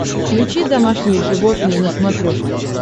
включи домашние животные на смотрешке